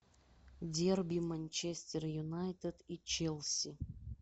дерби манчестер юнайтед и челси